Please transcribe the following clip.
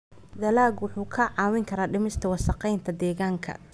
Dalaggu wuxuu kaa caawin karaa dhimista wasakheynta deegaanka.